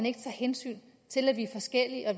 ikke tager hensyn til at vi er forskellige og